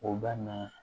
O bɛ na